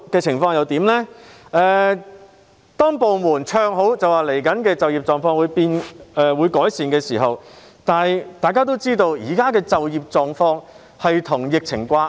此後，部門唱好並表示未來的就業情況會有改善，但大家都知道就業狀況與疫情掛鈎。